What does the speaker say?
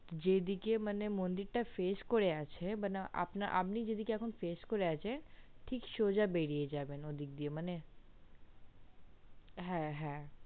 যেদিক টাই মানে মন্দির টা face করে আছে মানে আপনে যেদিকে face আছেন ঠিক সোজা বেরিয়ে যাবেন ঐদিক দিয়ে ঐদিকে মানে হ্যা